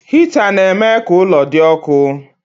Hịta na-eme ka ụlọ dị ọkụ.